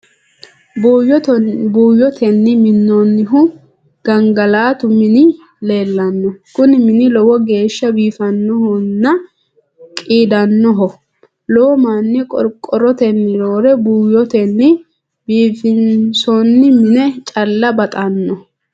Buuyyotenni minnoonnihu gangalatu mini leellanno. Kuni mini lowo geeshsha biifannohonna qiidannoho. Lowo manni qorqorrotenni roore buuyyotenni biifinsoonni mine caa'la baxanno.